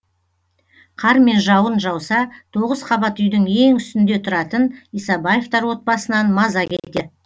қар мен жауын жауса тоғыз қабат үйдің ең үстінде тұратын исабаевтар отбасынан маза кетеді